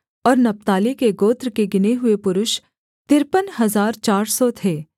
और नप्ताली के गोत्र के गिने हुए पुरुष तिरपन हजार चार सौ थे